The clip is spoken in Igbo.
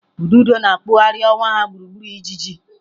Ududo na-akpụgharị ọwa ya gburugburu ijiji.